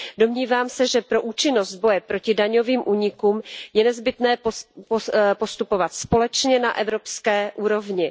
Domnívám se, že pro účinnost boje proti daňovým únikům je nezbytné postupovat společně na evropské úrovni.